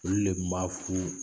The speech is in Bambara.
Olu de kun b'afu